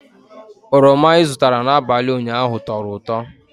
Oroma i zụtara n'abalị ụnyaahụ tọrọ ụtọ